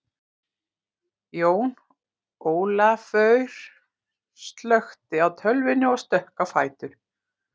Jón Ólafaur slökkti á tölvunni og stökk á fætur.